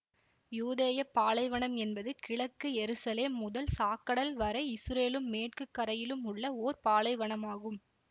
யூதேய பாலைவனம் என்பது கிழக்கு எருசலேம் முதல் சாக்கடல் வரை இசுரேலும் மேற்கு கரையிலும் உள்ள ஓர் பாலைவனமாகும்